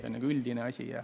See on nagu üldine asi.